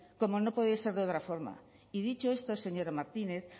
como no podía ser de otra forma y dicho esto señora martínez